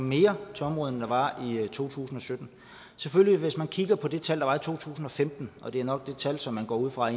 mere til området end der var i to tusind og sytten hvis man kigger på de tal der var for to tusind og femten og det er nok det tal som man går ud fra